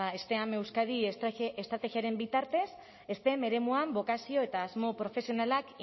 steam euskadi estrategia estrategiaren bitartez stem eremuan bokazio eta asmo profesionalak